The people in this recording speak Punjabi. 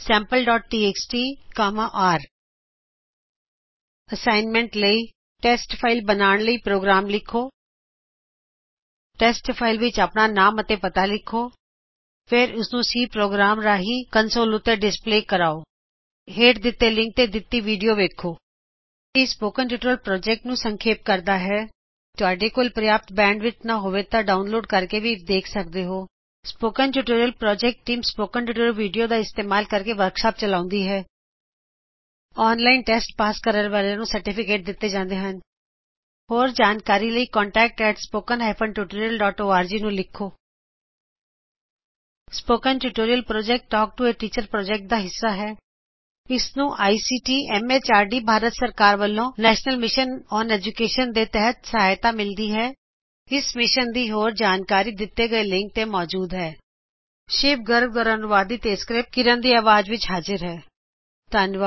ਐਫਪੀ fopensampleਟੀਐਕਸਟੀ ਰ ਅਸਾਇਨਮੇਂਟ ਅਸਾਈਨਮੈਂਟ ਅਭਿਆਸ ਲਈ ਟੇਸਟ ਫਾਇਲ ਬਨਾਣ ਲਈ ਪ੍ਰੋਗ੍ਰਾਮ ਲਿਖੋ ਟੇਸਟ ਫਾਇਲ ਵਿਚ ਆਪਣਾ ਨਾਮ ਅਤੇ ਪਤਾ ਲਿਖੋ ਫਿਰ ਉਸਨੂੰ ਸੀ ਪ੍ਰੋਗ੍ਰਾਮ ਰਾਹੀੰ ਕੰਨਸੋਲ ਉੱਤੇ ਡਿਸਪਲੇ ਕਰਾਓ ਹੇਂਠ ਦਿੱਤੇ ਲਿੰਕ ਤੇ ਦਿੱਤੀ ਵਿਡੀਓ ਵੇਖੋ ਇਹ ਸਪੋਕਨ ਟਯੁਟੋਰਿਅਲ ਪ੍ਰੋਜੇਕਟ ਬਾਰੇ ਸਂਖੇਪ ਵਿੱਚ ਜਾਨਕਾਰੀ ਦੇਵੇਗਾ ਅਗਰ ਤੁਹਾਡੇ ਕੋਲ ਪਰਯਾਪ੍ਤ ਬੈਡਵਿਡਥ ਨਾਂ ਹੋਵੇ ਤਾਂ ਤੁਸੀਂ ਡਾਉਨਲੋਡ ਕਰਕੇ ਵੀ ਦੇਖ ਸਕਦੇ ਹੋ spoken tutorial project team spoken tutorial video ਦਾ ਇਸਤੇਮਾਲ ਕਰਕੇ ਵਰ੍ਕਸ਼ਾਪਸ ਚਲਾਉਂਦੀ ਹੈ ਜੇਹੜੇ ਓਨਲਾਇਨ ਟੇਸਟ ਪਾਸ ਕਰਦੇ ਹਨ ਉਹਨਾ ਨੂੰ ਸਰਟੀਫਿਕੇਟ ਦਿੱਤੇ ਜਾਂਦੇ ਹਨ ਹੋਰ ਜਾਣਕਾਰੀ ਲਈ contactspoken tutorialorg ਨੂੰ ਲਿਖੋ spoken tutorial project talk to a teacher project ਦਾ ਹਿੱਸਾ ਹੈ ਇਸ ਨੂੰ ਆਈਸੀਟੀ ਐਮਐਚਆਰਡੀ ਭਾਰਤ ਸਰਕਾਰ ਵਲੋ ਨੇਸ਼ਨਲ ਮਿਸ਼ਨ ਓਨ ਏਡੂਕੇਸ਼ਨ ਦੇ ਤਹਿਤ ਸਹਾਇਤਾ ਮਿਲਦੀ ਹੈ ਇਸ ਮਿਸ਼ਨ ਦੀ ਹੋਰ ਜਾਣਕਾਰੀ spoken tutorialorgnmeict ਇੰਟਰੋ ਉੱਤੇ ਮੌਜੂਦ ਹੈ ਇਹ ਸ਼ਿਵ ਗਰਗ ਹੈ ਧੰਨਵਾਦ